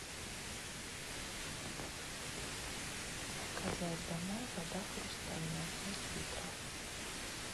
заказать домой вода хрустальная пять литров